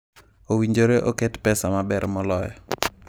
Owinjore oket pesa maber moloyo.